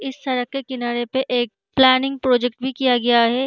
इस सड़क के किनारे एक प्लानिंग प्रोजेक्ट भी किया गया है।